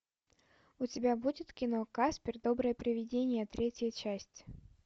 у тебя будет кино каспер доброе привидение третья часть